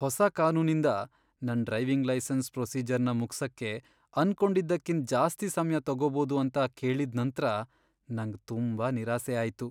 ಹೊಸ ಕಾನೂನಿಂದ ನನ್ ಡ್ರೈವಿಂಗ್ ಲೈಸೆನ್ಸ್ ಪ್ರೊಸೀಜರ್ನ ಮುಗ್ಸಕ್ಕೆ ಅನ್ಕೊಂಡಿದ್ದಕಿಂತ್ ಜಾಸ್ತಿ ಸಮ್ಯ ತಗೋಬೋದು ಅಂತ ಕೇಳಿದ್ ನಂತ್ರ ನಂಗ್ ತುಂಬಾ ನಿರಾಸೆ ಆಯ್ತು.